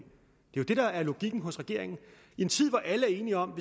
jo det der er logikken hos regeringen i en tid hvor alle er enige om at